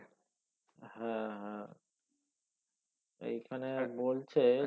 হ্যাঁ হ্যাঁ এইখানে বলছে